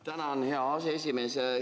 Tänan, hea aseesimees!